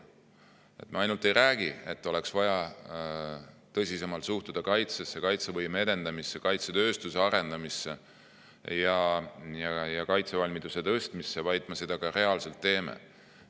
Me mitte ainult ei räägi, et oleks vaja tõsisemalt suhtuda kaitsesse, kaitsevõime edendamisse, kaitsetööstuse arendamisse ja kaitsevalmiduse tõstmisse, vaid seda me ka reaalselt teeme.